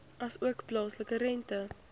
asook plaaslike rente